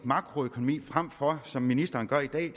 makroøkonomi frem for som ministeren gør i dag